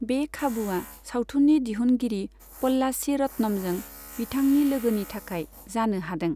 बे खाबुआ सावथुननि दिहुनगिरि प'ल्लाची रत्नमजों बिथांनि लोगोनि थाखाय जानो हादों।